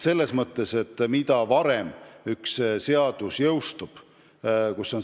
Selles mõttes on nii, et mida varem see seadus jõustub, seda parem on.